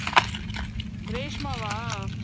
ரேஷ்மாவா